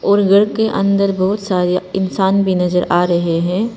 और घर के अंदर बहुत सारे इंसान भी नजर आ रहे हैं।